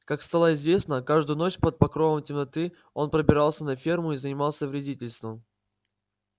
как стало известно каждую ночь под покровом темноты он пробирался на ферму и занимался вредительством